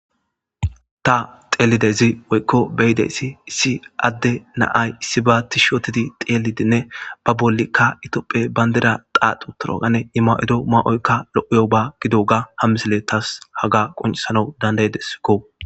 ta xeelidezi woykko beyideyssi issi adde naay issi ba ti shootidi xeelidinne ba bollikka itopphe bayndeda qaaxu torogane ima7ido maa7oykka lo7iyo ba gido ga hammisele taas haga quncisana dandaydeskko